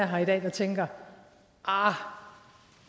her i dag der tænker arh